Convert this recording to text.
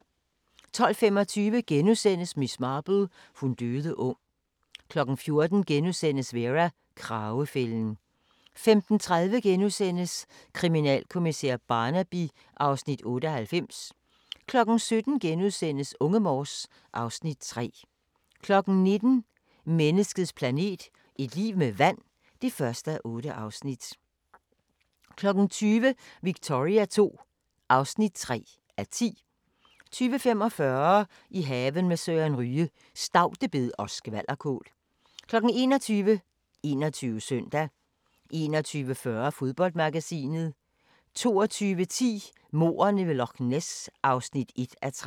12:25: Miss Marple: Hun døde ung * 14:00: Vera: Kragefælden * 15:30: Kriminalkommissær Barnaby (Afs. 98)* 17:00: Unge Morse (Afs. 3)* 19:00: Menneskets planet – et liv med vand (1:8) 20:00: Victoria II (3:10) 20:45: I haven med Søren Ryge: Staudebed og skvalderkål 21:00: 21 Søndag 21:40: Fodboldmagasinet 22:10: Mordene ved Loch Ness (1:3)